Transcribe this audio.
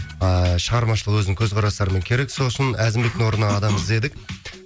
ааа шығармашылық өзін қөзқарастарымен керек со л үшін әзімбектің орнына адам іздедік